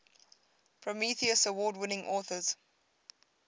prometheus award winning authors